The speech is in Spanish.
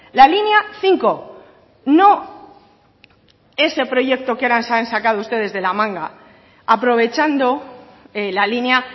la línea cinco no ese proyecto que ahora se han sacado ustedes de la manga aprovechando la línea